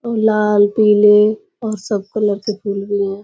और लाल पीले और सब कलर के फूल भी हैं।